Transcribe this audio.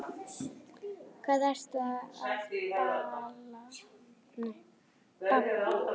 Hvað ertu að babla?